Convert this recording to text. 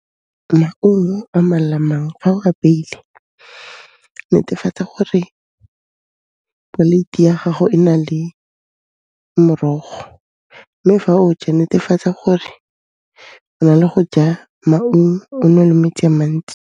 Maungo a mang le a mang, fa o a apeile, netefatsa gore poleiti ya gago e na le morogo mme fa o ja netefatsa gore o na le go ja maungo, o nwe le metsi a mantsi.